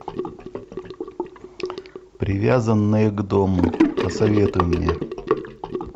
привязанные к дому посоветуй мне